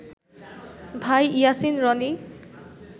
ভাই ইয়াসিন রনি